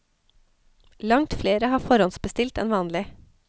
Langt flere har forhåndsbestilt enn vanlig.